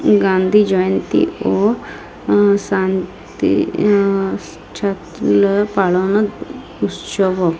গান্ধী জয়ন্তী ও আ শান্তি আ ছাত্রীলা পালোনো উৎসব--